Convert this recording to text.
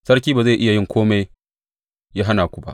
Sarki ba zai iya yin kome ya hana ku ba.